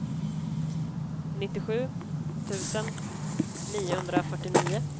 nittiosju tusen niohundrafyrtionio